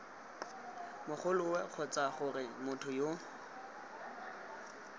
mogoloo kgotsa gore motho yo